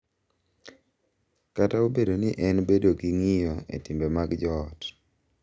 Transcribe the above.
Kata obedo ni en bedo gi ng’iyo e timbe mag joot,